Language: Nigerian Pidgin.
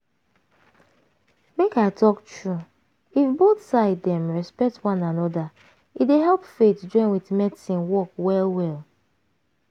make i talk true if both side dem respect one anoda e dey help faith join with medicine work well well.